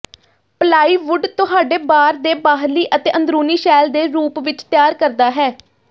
plywood ਤੁਹਾਡੇ ਬਾਰ ਦੇ ਬਾਹਰੀ ਅਤੇ ਅੰਦਰੂਨੀ ਸ਼ੈਲ ਦੇ ਰੂਪ ਵਿੱਚ ਤਿਆਰ ਕਰਦਾ ਹੈ